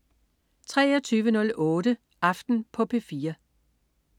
23.08 Aften på P4